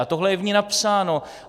A tohle je v ní napsáno.